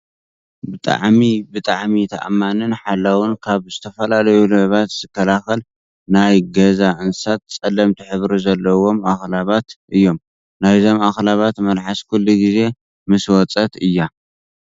ብጣዕሚ! ብጣዕሚ! ተኣማኒን ሓላውን ካብ ዝተፈላለዩ ሌባት ዝከላከል ናይ ገኣ እንስሳ ፀለምቲ ሕብሪ ዘለዎም ኣክላባት እዮም። ናይዞም ኣክላባት መልሓስ ኩሉ ግዜ ምስ ወፀት እያ።